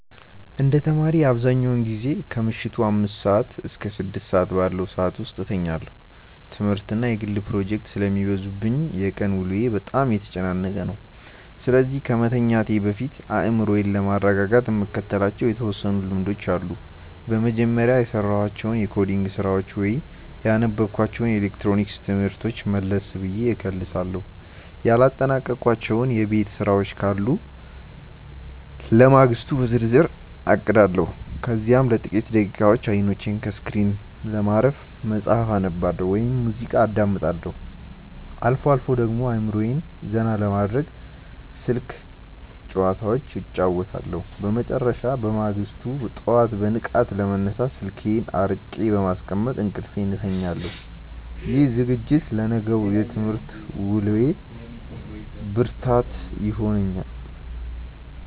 እንደ ተማሪ፣ አብዛኛውን ጊዜ ከምሽቱ አምስት እስከ ስድስት ባለው ሰዓት ውስጥ እተኛለሁ። ትምህርትና የግል ፕሮጀክቶች ስለሚበዙብኝ የቀን ውሎዬ በጣም የተጨናነቀ ነው፤ ስለዚህ ከመተኛቴ በፊት አእምሮዬን ለማረጋጋት የምከተላቸው የተወሰኑ ልምዶች አሉኝ። በመጀመሪያ፣ የሰራኋቸውን የኮዲንግ ስራዎች ወይም ያነበብኳቸውን የኤሌክትሮኒክስ ትምህርቶች መለስ ብዬ እከልሳለሁ። ያላጠናቀቅኳቸው የቤት ስራዎች ካሉ ለማግስቱ በዝርዝር አቅዳለሁ። ከዚያም ለጥቂት ደቂቃዎች አይኖቼን ከስክሪን ለማረፍ መጽሐፍ አነባለሁ ወይም ሙዚቃ አዳምጣለሁ። አልፎ አልፎ ደግሞ አእምሮዬን ዘና ለማድረግ ስልክ ጭዋታዎች እጫወታለሁ። በመጨረሻም፣ በማግስቱ ጠዋት በንቃት ለመነሳት ስልኬን አርቄ በማስቀመጥ እንቅልፌን እተኛለሁ። ይህ ዝግጅት ለነገው የትምህርት ውሎዬ ብርታት ይሆነኛል።